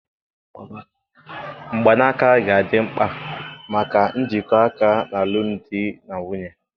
Mgbanaka ga-adị mkpa maka njikọ aka na alụmdi na nwunye.